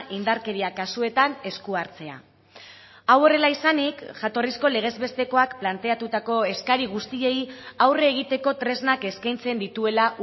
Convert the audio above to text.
indarkeria kasuetan esku hartzea hau horrela izanik jatorrizko legez bestekoak planteatutako eskari guztiei aurre egiteko tresnak eskaintzen dituela